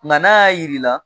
Nka n'a y'a jir'i la